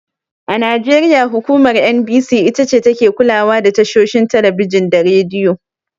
A Najeriya hukumar NBC itace take kulawa da tashoshin Talabijin da Radiyo.